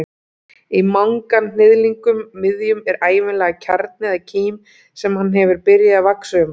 Í manganhnyðlingnum miðjum er ævinlega kjarni eða kím sem hann hefur byrjað að vaxa um.